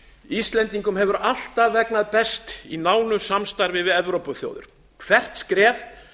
íslendingum hefur alltaf vegnað best í nánu samstarfi við evrópuþjóðir hvert skref